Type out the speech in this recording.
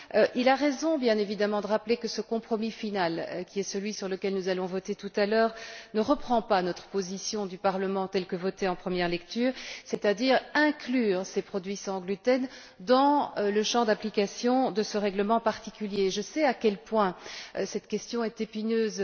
Il a raison, bien évidemment, de rappeler que ce compromis final, qui est celui sur lequel nous allons voter tout à l'heure, ne reprend pas la position du Parlement telle que votée en première lecture, c'est à dire celle consistant à inclure les produits sans gluten dans le champ d'application de ce règlement particulier. Je sais à quel point cette question est épineuse.